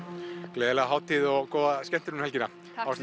gleðilega hátíð og góða skemmtun um helgina